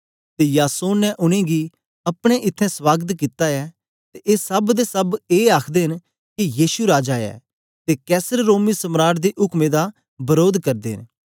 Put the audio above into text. ते यासोन ने उनेंगी गी अपने इत्थैं स्वागत कित्ता ऐ ते ए सब दे सब ए आखदे न के यीशु राजा ऐ ते कैसर रोमी सम्राट दे उक्में दा वरोध करदे न